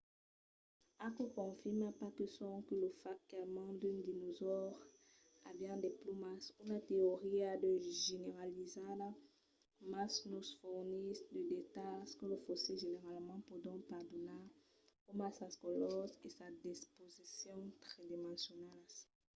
aquò confirma pas sonque lo fach qu’almens d’unes dinosaures avián de plumas una teoria ja generalizada mas nos fornís de detalhs que los fossils generalament pòdon pas donar coma sas colors e sas disposicions tridimensionalas